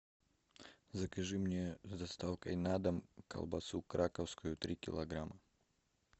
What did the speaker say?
закажи мне с доставкой на дом колбасу краковскую три килограмма